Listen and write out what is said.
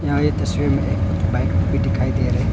यहां ये तस्वीर में एक बाइक भी दिखाई दे रहे--